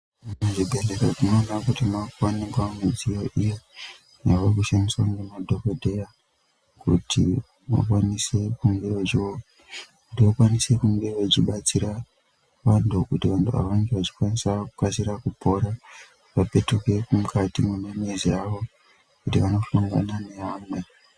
Muzvi bhedhlera tinoona kuti mwaa kuoneka midziyo, iyo yaaku shandiswa ngema dhokodheya kuti vakwanise kunge vachi batsira vanthu, kuti vange vachi kwanisa kukasira kupora. Vopetuke mukati mwemizi yavo kuti vano hlangane neva mweni.